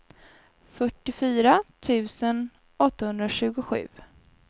fyrtiofyra tusen åttahundratjugosju